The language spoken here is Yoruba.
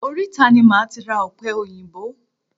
Oríta ni máa ti ra ọ̀pẹ òyìnbó.